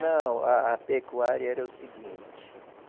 Não, a a pecuária era o seguinte.